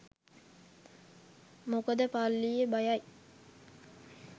මොකද පල්ලිය බයයි